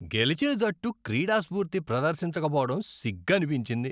గెలిచిన జట్టు క్రీడాస్ఫూర్తి ప్రదర్శించక పోవటం సిగ్గనిపించింది.